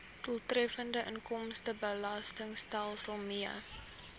doeltreffende inkomstebelastingstelsel mee